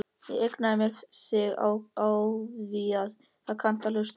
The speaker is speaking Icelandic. Ég eigna mér þig afþvíað þú kannt að hlusta.